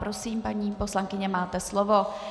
Prosím, paní poslankyně, máte slovo.